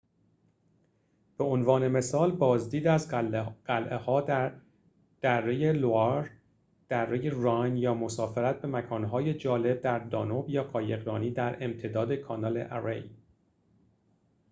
به عنوان مثال بازدید از قلعه ها در دره لوآر دره راین یا مسافرت به مکان‌های جالب در دانوب یا قایقرانی در امتداد کانال اری